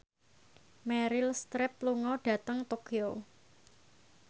Meryl Streep lunga dhateng Tokyo